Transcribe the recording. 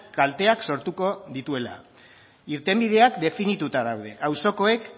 kalteak sortuko dituela irtenbideak definituta daude auzokoek